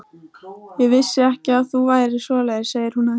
Ég vissi ekki að þú værir svoleiðis, segir hún hægt.